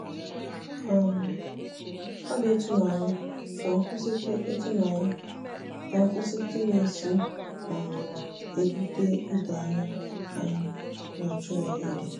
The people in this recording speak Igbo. um ọ dị ịtụnanya ka nkwụsịtụ ịtụnanya ka nkwụsịtụ na-esi um ebute idoanya anyị na-achọghịdị.